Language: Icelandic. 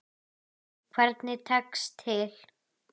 Hvernig tekst til?